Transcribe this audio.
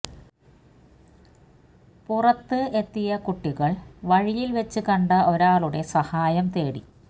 പുറത്ത് എത്തിയ കുട്ടികള് വഴിയില് വെച്ച് കണ്ട ഒരാളുടെ സഹായം തേടി